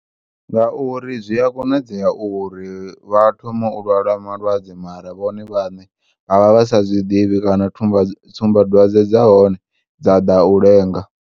Nga uri zwiya konadzea uri vhathome u lwala malwadze mara vhone vhane vha vha vhasa zwiḓivhi kana tsumbadwadze dzahone dzaḓa u lenga.